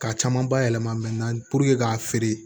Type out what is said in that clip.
K'a caman bayɛlɛma ka feere